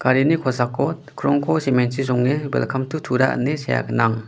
kosako krongko cement-chi songe welkam tu tura ine sea gnang.